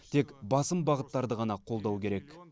тек басым бағыттарды ғана қолдау керек